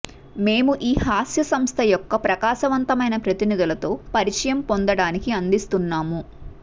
మేము ఈ హాస్య సంస్థ యొక్క ప్రకాశవంతమైన ప్రతినిధులతో పరిచయం పొందడానికి అందిస్తున్నాము